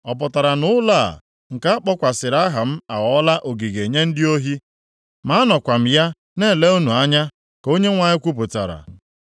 Ọ pụtara na ụlọ a, nke a kpọkwasịrị aha m aghọọla ogige nye ndị ohi? Ma anọkwa m ya na-ele unu anya, ka Onyenwe anyị kwupụtara.